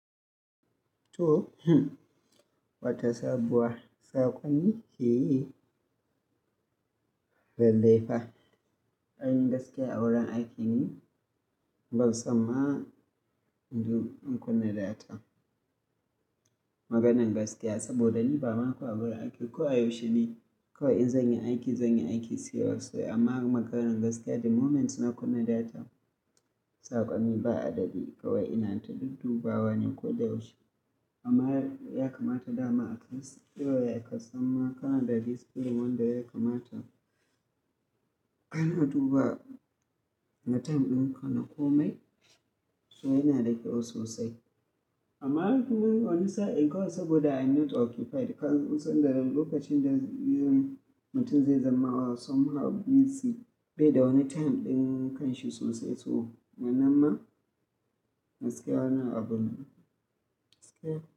To, wata sabuwa. Saƙon ki yi lalle fa. Anyi gaskiya a wurin aiki ne, babu samma n du in kunna data. Maganar gaskiya saboda ni ba ma kowa a wurin aiki ko a yau shine, ko in zanyi aiki, zanyi aiki serious way. Amma maganan gaskiya the moment ina kunna data, saƙonni ba adadi kawai ina ta duk dubawa ne ko da yaushe. Amma ya kamata dama akan shi, kawai ya kasamma kanada discipline wanda ya kamata. Ana duba na time ɗin kana komai, so yana da kyau sosai. Amma tuni wani sa'a in ga saboda I'm not occupied. Kasan suna da lokacin da yanzu mutum zai zama wa somehow busy, bai da wani time ɗin kan shi sosai. To, wannan ma gaskiya nawa abun nan. Gaskiya.